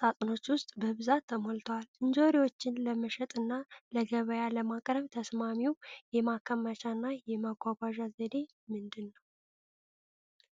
ሳጥኖች ውስጥ በብዛት ተሞልተዋል። እንጆሪዎችን ለመሸጥና ለገበያ ለማቅረብ ተስማሚው የማከማቻና የማጓጓዣ ዘዴ ምንድን ነው?